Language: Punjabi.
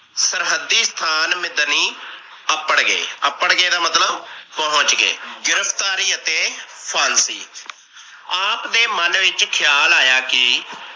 ਸਰਹੱਦੀ ਸਥਾਨ ਮਿਦਨੀ ਅਪੜ ਗਏ। ਅਪੜ ਗਏ ਦਾ ਮਤਲਬ ਪਹੁੰਚ ਗਏ ਗਿਰਫਤਾਰੀ ਅਤੇ ਫਾਂਸੀ ਆਪ ਦੇ ਮਨ ਵਿਚ ਖਿਆਲ ਆਇਆ। ਕਿ